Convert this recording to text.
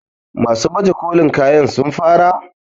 masu baje kolin kayan sun fara?